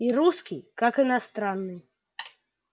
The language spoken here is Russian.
и русский как иностранный